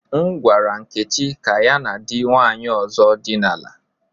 M gwara Nkechi ka ya na di nwanyi ozo dina la.